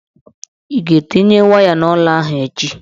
Ị ga-etinye waya n'ụlọ ahụ echi?